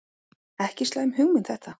Ekki slæm hugmynd þetta.